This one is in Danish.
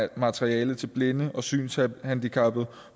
materiale til blinde og synshandicappede